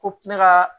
Ko ne ka